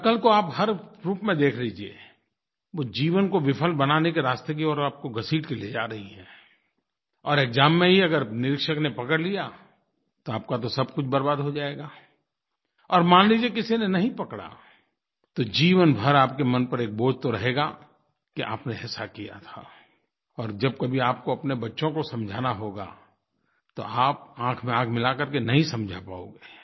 नक़ल को आप हर रूप में देख लीजिए वो जीवन को विफल बनाने के रास्ते की ओर आपको घसीट के ले जा रही है और एक्साम में ही अगर निरीक्षक ने पकड़ लिया तो आपका तो सबकुछ बर्बाद हो जाएगा और मान लीजिए किसी ने नहीं पकड़ा तो जीवन पर आपके मन पर एक बोझ तो रहेगा कि आपने ऐसा किया था और जब कभी आपको अपने बच्चों को समझाना होगा तो आप आँख में आँख मिला कर के नहीं समझा पाओगे